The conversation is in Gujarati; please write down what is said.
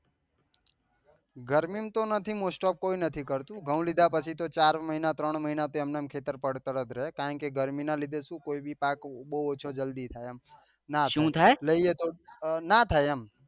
ગરમી માં તો નથી mostof નથી કોઈ કરતુ ઘઉં લીધા પછી તો ચાર મહિના ત્રણ મહિના તો એમનામ ખેતર પડતર જ રહે કારણ કે ગરમી ના લીધે શું કોઈ બી પાક બઉ ઓછો થાય નાં થાય લઈએ તો નાં થાય એમ